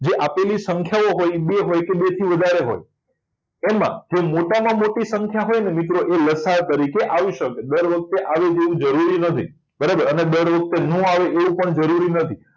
જે આપેલી સંખ્યાઓ હોય બે હોય કે બેથી વધારે હોય એમાં જે મોટામાં મોટી સંખ્યા હોય ને મિત્રો એ લસાઅ તરીકે આવી શકે દર વખતે આવે એવું જરૂરી નથી બરાબર અને દર વખતે ન આવે એવું પણ જરૂરી નથી